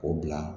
O bila